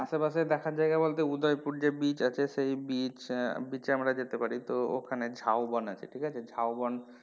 আশেপাশে দেখার জায়গা বলতে উদয়পুর যে beach আছে সেই beach আহ আমরা যেতে পারি তো ওখানে ঝাউ বন আছে ঠিক আছে ঝাউ বন,